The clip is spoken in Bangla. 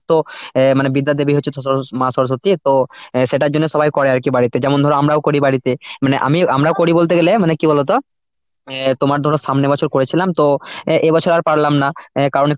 তো অ্যাঁ মানে বিদ্যার দেবী হচ্ছে সরস্বতী মা সরস্বতী তো সেটার জন্যই সবাই করে আর কি বাড়িতে যেমন ধর আমরাও করি বাড়িতে, মানে আমি আমরাও করি বলতে গেলে মানে কি বলতো? এই তোমার ধরো সামনে বছর করেছিলাম তো এ বছর আর পারলাম না, অ্যাঁ কারণ